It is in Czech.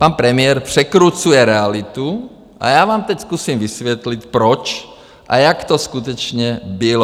Pan premiér překrucuje realitu a já vám teď zkusím vysvětlit, proč a jak to skutečně bylo.